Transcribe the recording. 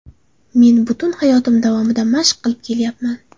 Men butun hayotim davomida mashq qilib kelyapman.